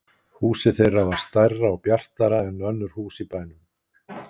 Húsið þeirra var stærra og bjartara en önnur hús í bænum.